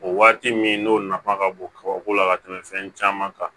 O waati min n'o nafa ka bon kaba ko la ka tɛmɛ fɛn caman kan